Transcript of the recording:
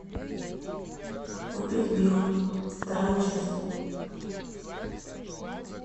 убить билла вторая часть